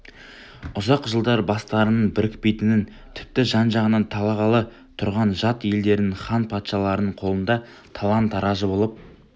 ұзақ жылдар бастарының бірікпейтінін тіпті жан-жағынан талағалы тұрған жат елдердің хан патшаларының қолында талан-тараж болып